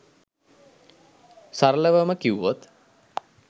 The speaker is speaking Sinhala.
සරලවම කිව්වොත්